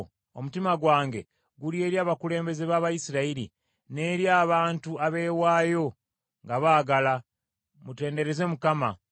Omutima gwange guli eri abakulembeze b’Abayisirayiri, n’eri abantu abeewaayo nga baagala. Mutendereze Mukama .